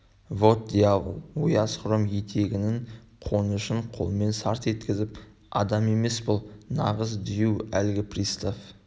вот дьявол ояз хром етігінің қонышын қолымен сарт еткізіп адам емес бұл нағыз дию әлгі пристав